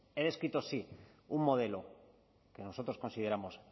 he descrito sí un modelo que nosotros consideramos